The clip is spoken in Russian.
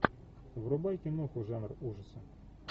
врубай киноху жанр ужасы